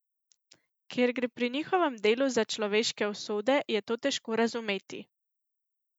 Ker gre pri njihovem delu za človeške usode, je to težko razumeti.